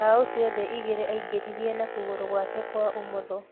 Mbao ciothe igĩrĩ aingĩririe na kũgũrũ gwake kwa ũmotho